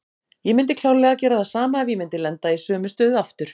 Ég myndi klárlega gera það sama ef ég myndi lenda í sömu stöðu aftur.